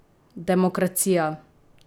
Demokracija!